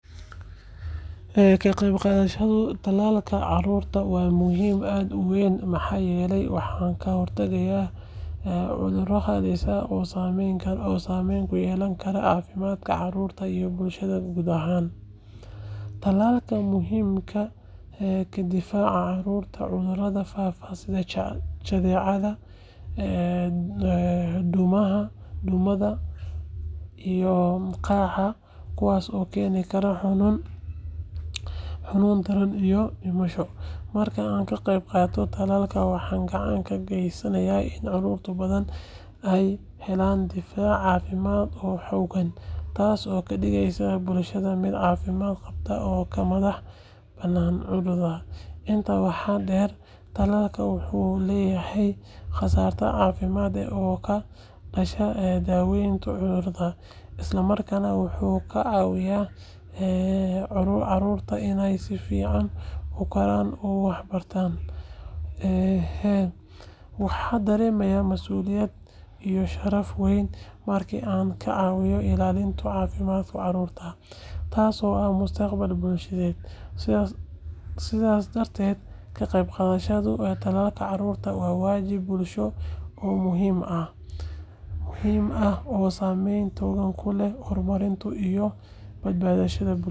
Ka qaybqaadashada talaalka carruurta waa muhiim aad u weyn maxaa yeelay waxay ka hortagtaa cuduro halis ah oo saameyn ku yeelan kara caafimaadka carruurta iyo bulshada guud ahaan. Talaalku wuxuu ka difaacaa carruurta cudurada faafa sida jadeecada, duumada, iyo qaaxada, kuwaas oo keeni kara xanuun daran iyo dhimasho. Marka aan ka qaybqaato talaalka, waxaan gacan ka geysanayaa in carruur badan ay helaan difaac caafimaad oo xooggan, taasoo ka dhigaysa bulshada mid caafimaad qabta oo ka madax bannaan cudurada. Intaa waxaa dheer, talaalku wuxuu yareeyaa kharashka caafimaadka ee ka dhasha daaweynta cudurada, isla markaana wuxuu ka caawiyaa carruurta inay si fiican u koraan oo waxbartaan. Waxaan dareemaa mas’uuliyad iyo sharaf weyn markii aan ka caawiyo ilaalinta caafimaadka carruurta, taasoo ah mustaqbalka bulshada. Sidaas darteed, ka qaybqaadashada talaalka carruurta waa waajib bulsho oo muhiim ah oo saameyn togan ku leh horumarka iyo badbaadada bulshada.